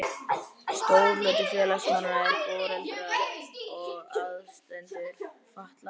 Stór hluti félagsmanna eru foreldrar og aðstandendur fatlaðra.